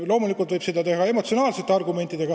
Loomulikult võib seda teha ka emotsionaalselt.